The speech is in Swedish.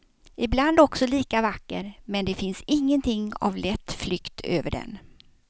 Ibland också lika vacker, men det finns ingenting av lätt flykt över den.